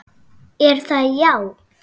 Er það já?